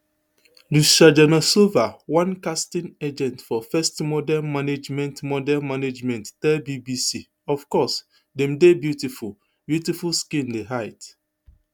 lucia janosova one casting agent for first model management model management tell bbc of course dem dey beautiful beautiful skin di height